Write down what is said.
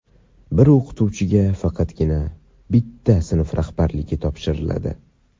bir o‘qituvchiga faqatgina bitta sinf rahbarligi topshiriladi.